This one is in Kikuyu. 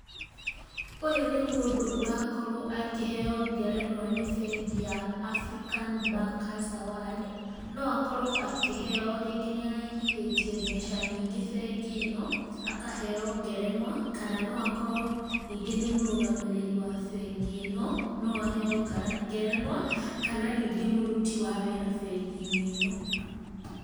Ũyũ nĩ mũndũ ũrakorwo akĩheo ngerenwa nĩ bengi ya African Bankers Award, no akorwo akĩheo rĩngĩ nĩ araigithĩtie mbeca nyingĩ bengi ĩno, akaheo ngerenwa kana no akorwo ningĩ nĩ mũrũgamĩrĩri wa bengi ĩno, no aheo ngerenwa, kana ningĩ mũruti wa wĩra bengi-inĩ ĩno.